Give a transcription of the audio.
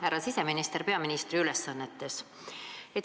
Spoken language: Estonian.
Härra siseminister peaministri ülesannetes!